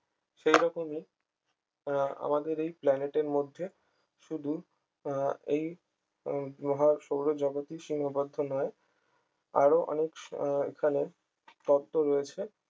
সেই রকমই আহ আমাদের এই planet এর মধ্যে শুধু এই মহা সৌরজগতে সীমাবদ্ধ নয় আহ আরো অনেক আহ এখানে তত্ত্ব রয়েছে